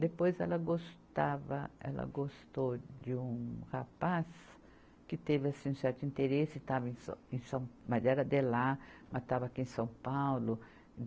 Depois ela gostava, ela gostou de um rapaz que teve assim um certo interesse, estava em sã, em sã, mas era de lá, mas estava aqui em São Paulo.